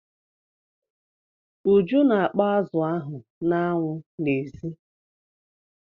Uju na-akpọ azụ ahụ n'anwụ n'èzí.